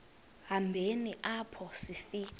hambeni apho sifika